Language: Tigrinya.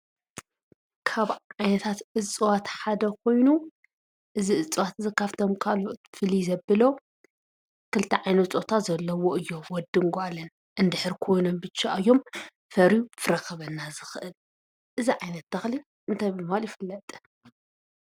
ካብ ዓይነታት እፅዋት ሓደ ኮይኑ እዚ እፅዋት እዚ ካብ ፍቶም ካልኦት ፍልይ ዘብሎ ክልተ ዓይነት ፆታ ዘለዎ እዮም። ወድን ጓልን እንድሕር ኮይኖም ብቻ እዮም ከፍርዩ ፍረ ክህበና ዝክእል። እዚ ዓይነት ተኽሊ እንታይ ብምባል ይፍለጥ?